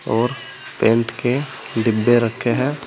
और पेंट के डब्बे रखे हैं।